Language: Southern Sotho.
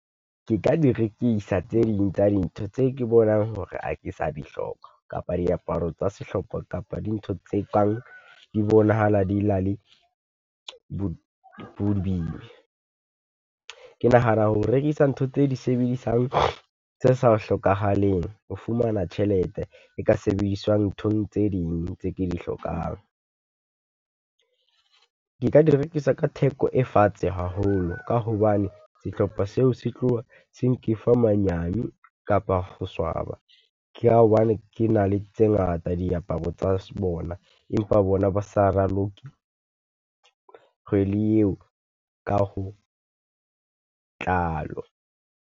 Ke ka di rekisa tse ding tsa dintho tse ke bonang hore ha ke sa dihloka kapa diaparo tsa sehlopha, kapa di ntho tse kang di bonahala di na le bo . Ke nahana ho rekisa ntho tse di sebedisang tse sa hlokahaleng ho fumana tjhelete e ka sebediswang nthong tse ding tse ke di hlokang. Ke ka di rekisa ka theko e fatshe haholo, ka hobane sehlopha seo se tloha se nkefa manyane kapa ho swaba. Ke ha hobane ke na le tse ngata diaparo tsa bona, empa bona ba sa raloke kgwedi eo ka ho tlalo.